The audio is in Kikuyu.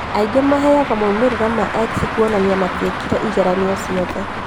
Angĩ maheagwo maumĩrĩra ma X kuonania matiekire igeranio ciothe